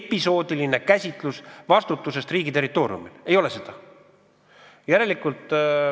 Episoodiline vastutus riigi territooriumil – ei ole seda!